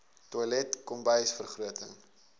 toilet kombuis vergroting